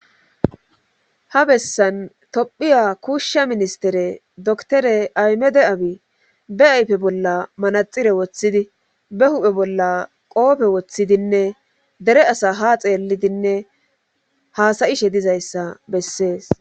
ha bessan tophiya kuushsha ministere doktore aymede abi be ayfe bolla manaxire woththidi be huphe bolla qoofe woththidinne dere asa ha xeellidinne haasayishe dizayssa bessees